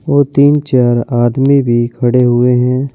ओ तीन चार आदमी भी खड़े हुए हैं।